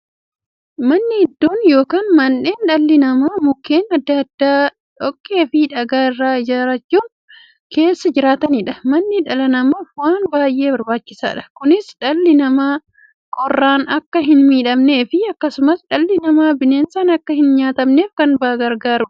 Manni iddoo yookiin mandhee dhalli namaa Mukkeen adda addaa, dhoqqeefi dhagaa irraa ijaarachuun keessa jiraataniidha. Manni dhala namaaf waan baay'ee barbaachisaadha. Kunis, dhalli namaa qorraan akka hinmiidhamneefi akkasumas dhalli namaa bineensaan akka hinnyaatamneef baay'ee isaan gargaara.